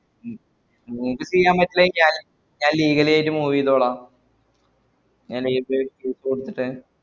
ഉം ഇങ്ങക്ക് ചെയ്യാമ്പറ്റൂലങ്കി ഞാൻ legally ആയിട്ട് move ഈതോളാ ഞാൻ live ലൊരു വിട്ടിട്ട്